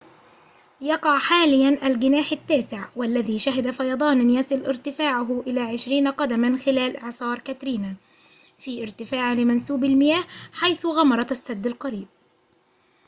يقع حاليًا الجناح التاسع والذي شهد فيضاناً يصل ارتفاعه إلى 20 قدماً خلال إعصار كاترينا في ارتفاع لمنسوب المياه حيث غمرت السد القريب